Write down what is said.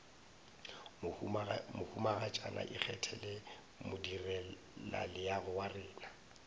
mohumagatšana ikgethele modirelaleago wa rena